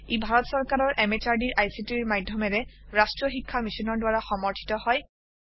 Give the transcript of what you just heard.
ই ভাৰত সৰকাৰৰ MHRDৰ ICTৰ মাধ্যমেৰে ৰাষ্ট্ৰীয় শীক্ষা Missionৰ দ্ৱাৰা সমৰ্থিত হয়